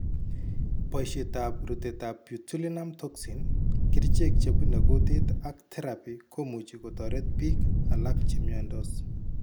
boishetab rutetab Botulinum toxin, kerichek chebune kutit ak therapy komuchi kotoret biik alak chemyandos